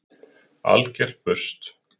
Algert burst!